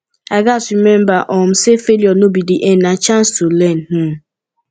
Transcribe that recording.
i gats remember um say failure no be the end na chance to learn um